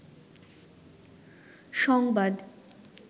সংবাদ